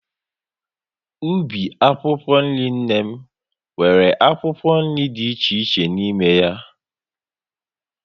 Ubi akwụkwọ nri nne m, nwere akwụkwọ nri dị iche iche n'ime ya